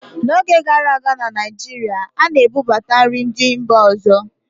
n'oge gara aga na Naijiria, a na-ebubata nri ndị mba ọzọ